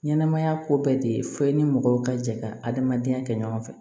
Ɲɛnɛmaya ko bɛɛ de ye fɔ e ni mɔgɔw ka jɛ ka adamadenya kɛ ɲɔgɔn fɛ